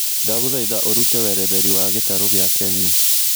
ndagũthaĩtha ũrũte weretheri wa gĩtarũ gĩa kenya